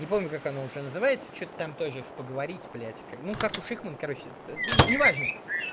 не помню как оно уже называется что-то там тоже с поговорить блядь как ну как у шихман короче неважно